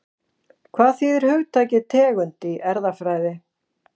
Hvað þýðir hugtakið tegund í erfðafræði?